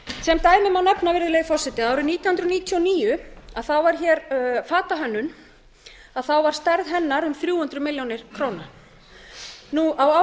sem dæmi má nefna virðulegi forseti að árið nítján hundruð níutíu og níu var hér fatahönnun og þá var stærð hennar um þrjú hundruð milljóna króna nú